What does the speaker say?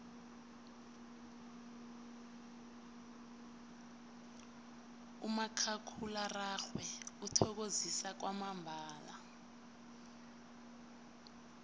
umakhakhulararhwe uthokozisa kwamambala